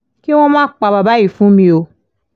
kí wọ́n má pa bàbá yìí fún mi o